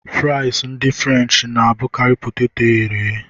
Frịsị ndị frenchị na-abụkarị poteto e ghere eghe.